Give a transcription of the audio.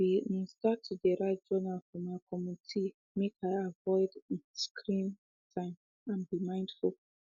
i be um start to de write journal for my communte make i avoid um screen um time and de mindful